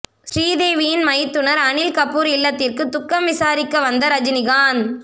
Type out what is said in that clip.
ஸ்ரீதேவியின் மைத்துனர் அனில் கபூர் இல்லத்திற்கு துக்கம் விசாரிக்க வந்த ரஜினிகாந்த்